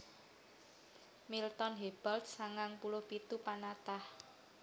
Milton Hebald sangang puluh pitu panatah